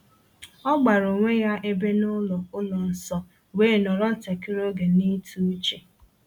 O gbara onwe ya ebe n’ụlọ ụlọ nsọ, wee nọrọ ntakịrị oge n’ịtụ uche.